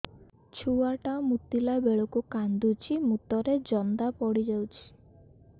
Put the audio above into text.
ଛୁଆ ଟା ମୁତିଲା ବେଳକୁ କାନ୍ଦୁଚି ମୁତ ରେ ଜନ୍ଦା ପଡ଼ି ଯାଉଛି